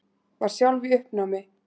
Var sjálf í uppnámi.